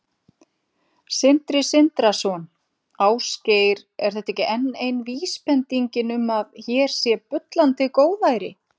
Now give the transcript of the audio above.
Sindri Sindrason: Ásgeir, er þetta ekki enn ein vísbendingin um að hér sé bullandi góðæri?